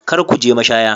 Kar ku je mashaya.